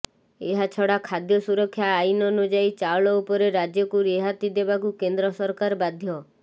ଏହାଛଡା ଖାଦ୍ୟ ସୁରକ୍ଷା ଆଇନ ଅନୁଯାୟୀ ଚାଉଳ ଉପରେ ରାଜ୍ୟକୁ ରିହାତି ଦେବାକୁ କେନ୍ଦ୍ର ସରକାର ବାଧ୍ୟ